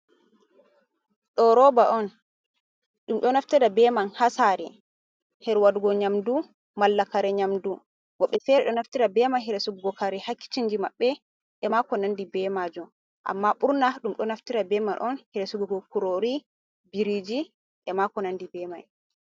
Ɗo roba on. Ɗum do naftira beman ha sare her waɗugo nyamɗu, malla kare nyamɗu. Wobbe fere ɗo naftira beman her sorrugu kurori ha kicinji mabbe. E mako nanɗi bemajom. Amma burna ɗum ɗo naftira beman on her sugugo kurori, biriji ema ko nanɗi bemai.